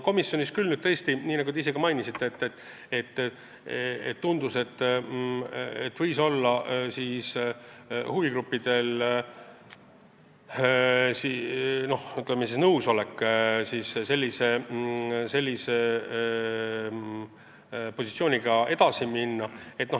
Komisjonis, nii nagu te ise mainisite, tundus, et huvigrupid võisid olla nõus sellise positsiooniga edasi minema.